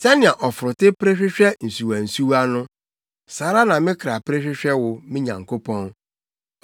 Sɛnea ɔforote pere hwehwɛ nsuwansuwa no, saa ara na me kra pere hwehwɛ wo, me Nyankopɔn.